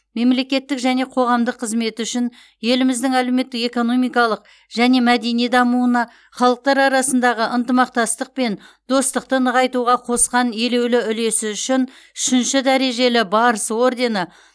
мемлекеттік және қоғамдық қызметі үшін еліміздің әлеуметтік экономикалық және мәдени дамуына халықтар арасындағы ынтымақтастық пен достықты нығайтуға қосқан елеулі үлесі үшін үшінші дәрежелі барыс ордені